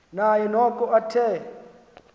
naye noko athe